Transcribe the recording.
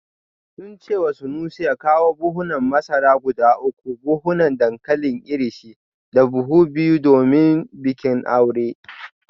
Sun ce wa Sanusi ya kawo buhunan masara guda uku, buhunan dankalin Irish da buhu biyu domin bikin aure